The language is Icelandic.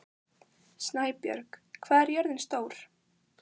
Snæbjörg, hvað er jörðin stór?